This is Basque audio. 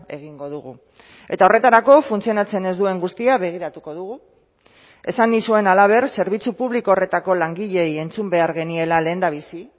egingo dugu eta horretarako funtzionatzen ez duen guztia begiratuko dugu esan nizuen halaber zerbitzu publiko horretako langileei entzun behar geniela lehendabizi